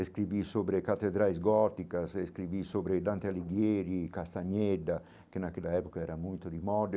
Escrevi sobre catedrais góticas, sobre Dante Alighieri, Castaneda, que naquela época era muito de moda.